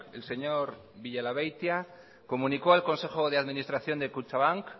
el señor villalabeitia comunicó al consejo de administración de kutxabank